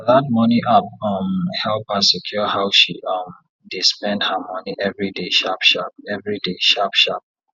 that money app um help her secure how she um dey spend her money every day sharpsharp every day sharpsharp